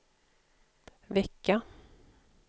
vecka